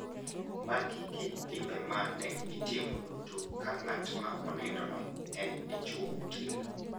Magi gin timbe ma ne itimo duto ka ng`at ma onindono en dichwo motegno.